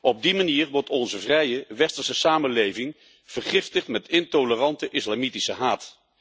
Op die manier wordt onze vrije westerse samenleving vergiftigd met intolerante islamitische haat.